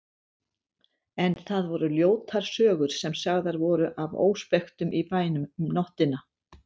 En það voru ljótar sögur sem sagðar voru af óspektum í bænum um nóttina.